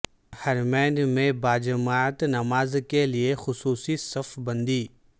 حرمین میں باجماعت نماز کے لیے خصوصی صف بندی